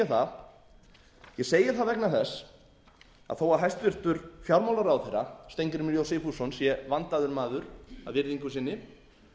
það ég segi það vegna þess að þó að hæstvirtur fjármálaráðherra steingrímur j sigfússon sé vandaður maður að virðingu sinni